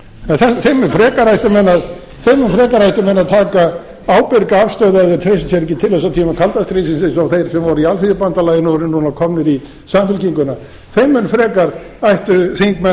niðurstöðum en þeim mun frekar ættu menn að taka ábyrga afstöðu ef þeir treysta sé ekki til þess á tímum kalda stríðsins eins og þeir sem voru í alþýðubandalaginu og eru núna komnir í samfylkinguna þeir þingmenn ættu fremur